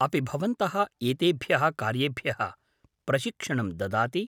अपि भवन्तः एतेभ्यः कार्येभ्यः प्रशिक्षणं ददाति?